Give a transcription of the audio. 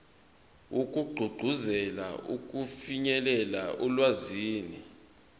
wokugqugquzela ukufinyelela olwazini